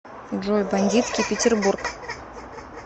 джой бандитский петеррбург